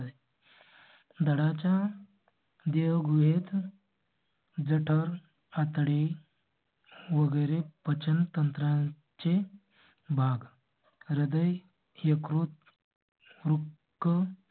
धडा च्या देह गुहेत. जेंटर आता डी वगैरे पचन तंत्रा चे भाग हृदय यकृत रूम, room